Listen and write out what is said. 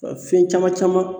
Fɛn caman caman